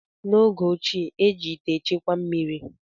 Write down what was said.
N’oge ochie, eji ite echekwa mmiri